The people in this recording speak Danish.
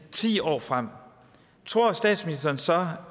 ti år frem tror statsministeren så